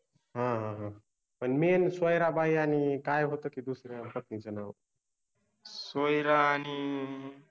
हा हा हा पन मेंन सोयरा बाई आणी काय होत कि दुसऱ्या पत्नीच नाव सोयरा आणि